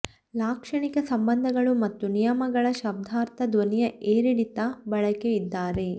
ಲಾಕ್ಷಣಿಕ ಸಂಬಂಧಗಳು ಮತ್ತು ನಿಯಮಗಳ ಶಬ್ದಾರ್ಥ ಧ್ವನಿಯ ಏರಿಳಿತ ಬಳಕೆ ಇದ್ದಾರೆ